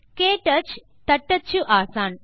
க்டச் தட்டச்சு ஆசான்